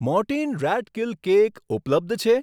Mortein rat kill cake ઉપલબ્ધ છે?